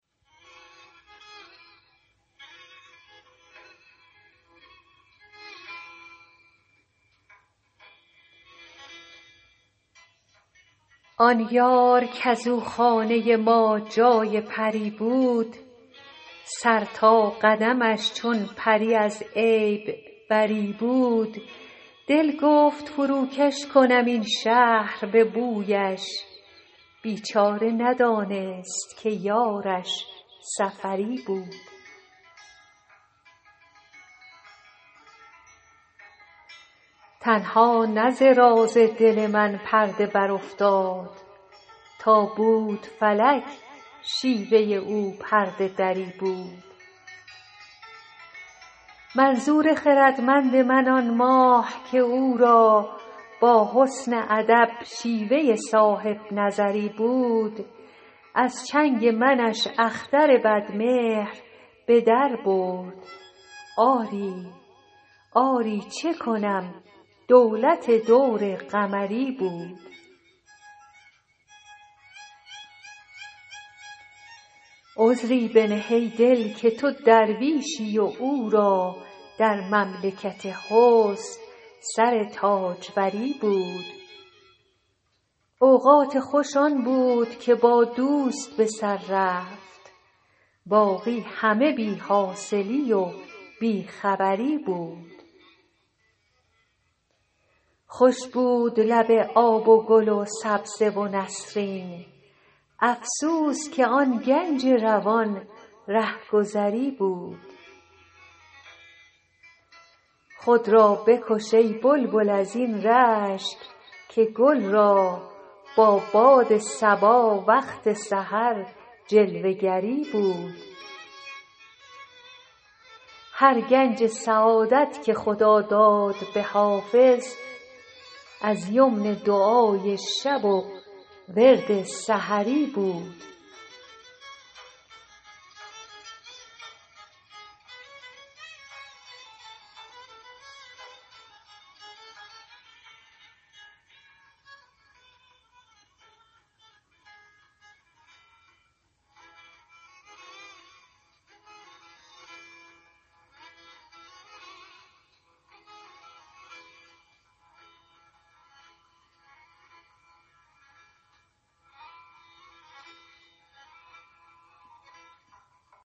آن یار کز او خانه ما جای پری بود سر تا قدمش چون پری از عیب بری بود دل گفت فروکش کنم این شهر به بویش بیچاره ندانست که یارش سفری بود تنها نه ز راز دل من پرده برافتاد تا بود فلک شیوه او پرده دری بود منظور خردمند من آن ماه که او را با حسن ادب شیوه صاحب نظری بود از چنگ منش اختر بدمهر به در برد آری چه کنم دولت دور قمری بود عذری بنه ای دل که تو درویشی و او را در مملکت حسن سر تاجوری بود اوقات خوش آن بود که با دوست به سر رفت باقی همه بی حاصلی و بی خبری بود خوش بود لب آب و گل و سبزه و نسرین افسوس که آن گنج روان رهگذری بود خود را بکش ای بلبل از این رشک که گل را با باد صبا وقت سحر جلوه گری بود هر گنج سعادت که خدا داد به حافظ از یمن دعای شب و ورد سحری بود